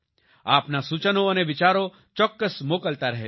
આપના સૂચનો અને વિચારો ચોક્કસ મોકલતા રહેજો